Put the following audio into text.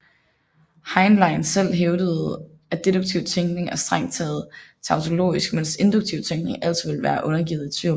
Heinlein selv hævdede at deduktiv tænkning er strengt taget tautologisk mens induktiv tænkning altid vil være undergivet tvivl